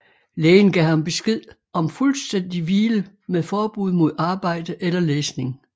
Lægen gav ham besked om fuldstændig hvile med forbud mod arbejde eller læsning